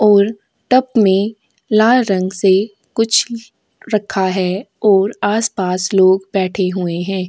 ओर tub में लाल रंग से कुछ रखा है ओर आस पास लोग बैठे हुएं है।